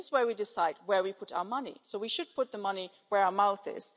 This is where we decide where we put our money, and we should put our money where our mouth